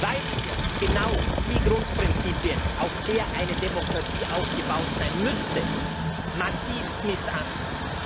weil wir genau die Grundprinzipien, auf der eine Demokratie aufgebaut sein müsste, massivst missachten.